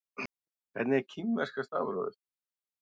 Hvernig er kínverska stafrófið?